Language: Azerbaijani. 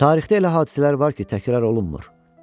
Tarixdə elə hadisələr var ki, təkrar olunmur.